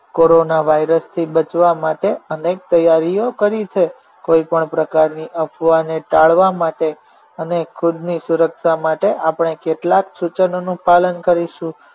કોરોનાવાયરસથી બચવા માટે અનેક તૈયારીઓ કરી છે કોઈપણ પ્રકારની અફવાને ટાળવા માટે અને ખુદની સુરક્ષા માટે આપણે કેટલાક સૂચનોનું પાલન કરીશું